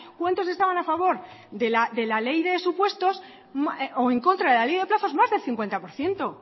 cuántos estaban a favor de la ley de supuestos o en contra de la ley de plazos más de cincuenta por ciento